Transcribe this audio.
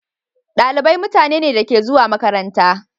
Dalibai mutane ne da suke zuwa makaranta.